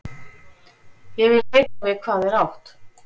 Ég vil vita við hvað er átt.